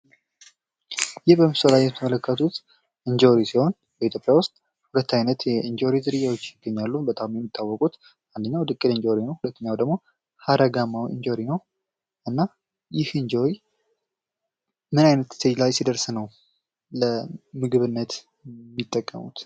ይህ በምስሉ ላይ የምትመለከቱት እንጆሪ ሲሆን በኢትዮጵያ ውስጥ ሁለት አይነት የእንጆሪ ዝርያዎች ይገኛሉ። በጣም የሚታወቁት አንደኛው ድቅል እንጆሪ ነው። ሁለተኛው ደግሞ ሀረጋማው እንጆሪ ነው። እና ይህ እንጆሪ ምን አይነት እስቴጅ ላይ ሲደርስ ነው ለምግብነት የሚጠቀሙት?